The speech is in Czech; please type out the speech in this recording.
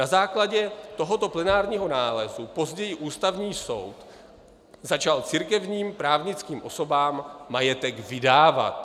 Na základě tohoto plenárního nálezu později Ústavní soud začal církevním právnickým osobám majetek vydávat.